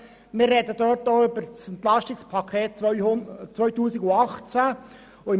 Auch werden wir über das Entlastungspaket 2018 (EP 2018) sprechen.